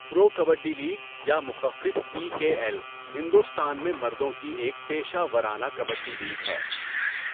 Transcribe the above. پرو kabaddi league یا مخفف P K L Hindustan میں مردوں کی ایک پیشہ ورانہ کبڈی لیگ ہے۔